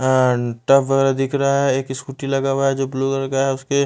अ tub वाला दिख रहा है एक स्कूटी लगा हुआ है जो ब्लू रंग का है उसके--